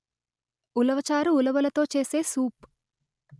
ఉలవ చారు ఉలవలతో చేసే సూప్